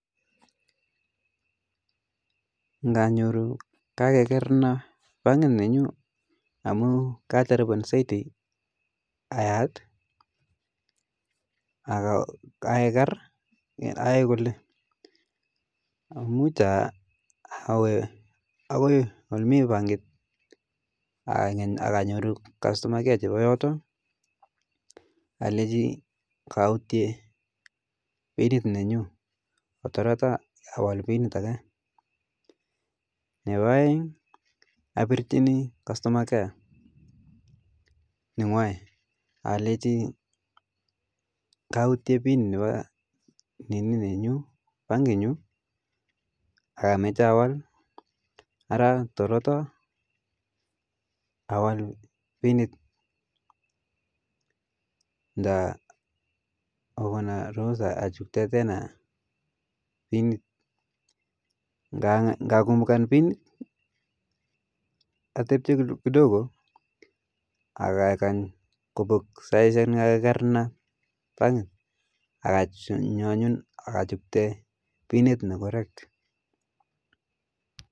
Nganyoru kakekerna bankit nenyu amu kaajarupen saiti ayaat akekar aae kole muj awe ako ole mii bankit akanyoru kastoma care chepa yote akaleji kautie pin nenyu ketoroto awal pinit ake, nepa aeng apirchini kastoma care nengwai akaleji kautie pin nepa bankit nyu akameche awal araa torota awal pinit nda kokona ruhusu achukte pinit, ngakumbuka pinit atepche kidogo akakany kobok saichek che kakekarna bankit akanyo anyun akachukte pinit ne karan